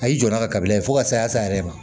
A y'i jɔ n'a ka kabila ye fo ka saya sa yɛrɛ ma